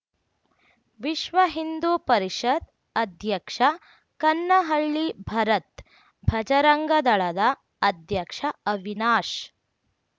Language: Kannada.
ವಿಶ್ವ ಹಿಂದೂ ಪರಿಷತ್‌ ಅಧ್ಯಕ್ಷ ಕನ್ನಹಳ್ಳಿ ಭರತ್‌ ಭಜರಂಗದಳದ ಅಧ್ಯಕ್ಷ ಅವಿನಾಶ್‌